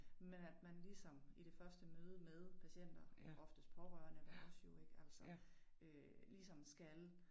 Men at man ligesom i det første møde med patienter oftest pårørende ved os jo ik altså øh ligesom skal